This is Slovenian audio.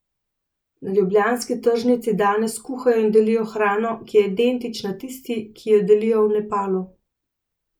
Na ljubljanski tržnici danes kuhajo in delijo hrano, ki je identična tisti, ki jo delijo v Nepalu.